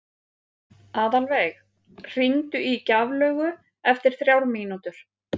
Aðalveig, hringdu í Gjaflaugu eftir þrjár mínútur.